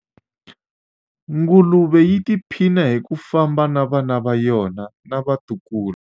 nguluve yi tiphina hi ku famba na vana va yona na vatukulu